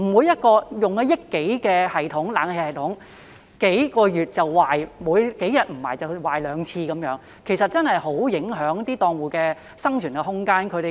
一個花了1億多元的冷氣系統在數個月內便出現故障，在數天內已出現兩次故障，這確實很影響檔戶的生存空間。